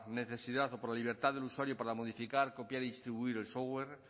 necesidad o por la libertad del usuario para modificar copiar y distribuir el software